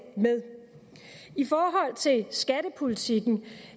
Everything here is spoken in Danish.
med i forhold til skattepolitikken vil